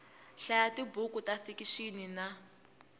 hlaya tibuku ta fikixini na